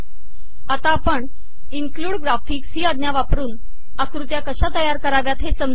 आता आपण include graphics ही आज्ञा वापरून आकृत्या कशा तयार कराव्यात हे समजून घेऊ